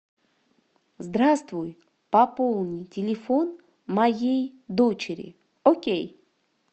здравствуй пополни телефон моей дочери окей